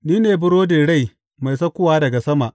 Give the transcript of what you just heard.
Ni ne burodin rai mai saukowa daga sama.